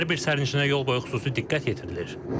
Hər bir sərnişinə yol boyu xüsusi diqqət yetirilir.